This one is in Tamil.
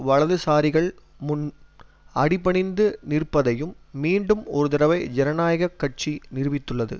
வலதுசாரிகள் முன் அடிபணிந்து நிற்பதையும் மீண்டும் ஒருதடவை ஜனநாயக கட்சி நிரூபித்துள்ளது